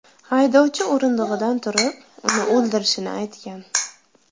Haydovchi o‘rindig‘idan turib, uni o‘ldirishini aytgan.